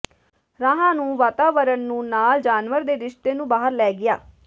ਰਾਹ ਨੂੰ ਵਾਤਾਵਰਣ ਨੂੰ ਨਾਲ ਜਾਨਵਰ ਦੇ ਰਿਸ਼ਤੇ ਨੂੰ ਬਾਹਰ ਲੈ ਗਿਆ